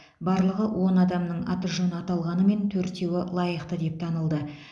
барлығы он адамның аты жөні аталғанымен төртеуі лайықты деп танылды